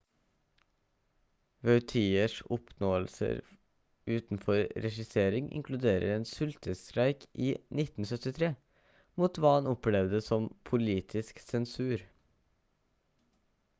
vautiers oppnåelser utenfor regissering inkluderer en sultestreik i 1973 mot hva han opplevde som politisk sensur